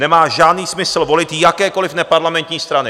Nemá žádný smysl volit jakékoliv neparlamentní strany.